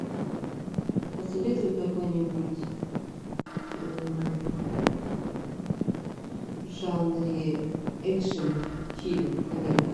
посоветуй какой нибудь в жанре экшн фильм американский